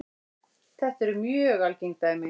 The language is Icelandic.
Þetta eru mjög algeng dæmi.